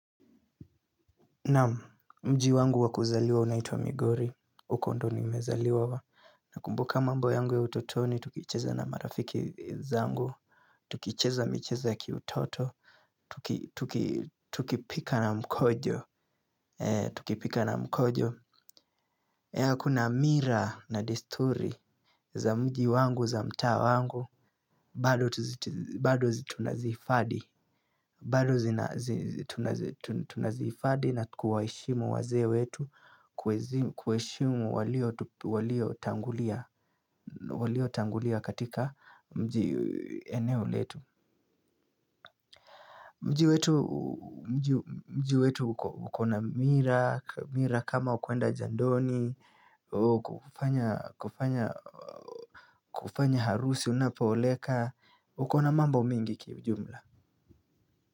Naam mji wangu wakuzaliwa unaitwa Migori. Uko ndio nimezaliwa. Nakumbuka mambo yangu ya utotoni, tukicheza na marafiki zangu. Tukicheza micheza ya kiutoto. Tukipika na mkojo. Tukipika na mkojo. Kuna mila na desturi za mji wangu, za mtaa wangu. Bado tunazihifadhi. Bado zina tunazihifadhi na kuwaheshimu wazee wetu. Kuheshimu walio tangulia katika mji eneo letu. Mji wetu ukona mila. Mila kama kwenda jandoni kufanya harusi unapooleka. Ukona mambo mengi kiujumla.